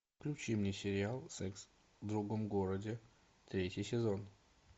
включи мне сериал секс в другом городе третий сезон